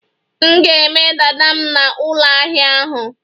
M ga-eme dada m na ụlọahia ahu